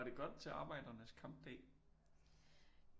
Var det godt til arbejdernes kampdag